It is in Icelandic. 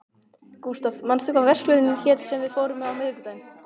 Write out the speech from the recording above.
Gustav, manstu hvað verslunin hét sem við fórum í á miðvikudaginn?